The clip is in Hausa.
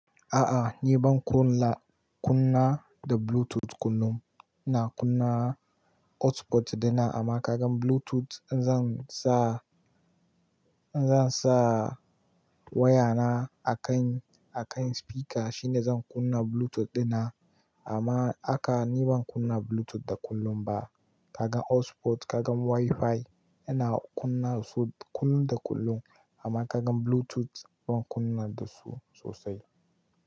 A a ni ban kunna da Bluetooth kullum. Na kunna hotspot din na amma kagan Bluetooth zan sa waya na a kan a kan spika shine zan kunna Bluetooth din na amma aka-- ni ban kunna Bluetooth da kullum ba. Ka ga hotspot, kaga WiFi, ina kunna su kullum da kullum amma ka gan Bluetooth ban kunna da su sosai.